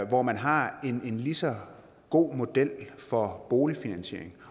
hvor man har en lige så god model for boligfinansiering